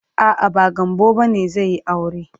A'a, ba Gambo bane zai yi aure.